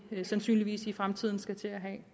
sandsynligvis i fremtiden skal til at have